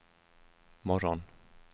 morgon